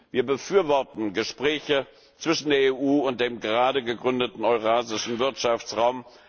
Wir befürworten Gespräche zwischen der EU und dem gerade gegründeten eurasischen Wirtschaftsraum.